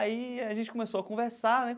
Aí a gente começou a conversar, né?